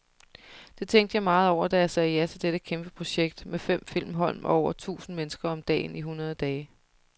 Det tænkte jeg meget over, da jeg sagde ja til dette kæmpeprojekt med fem filmhold og over et tusind mennesker om dagen i hundrede dage.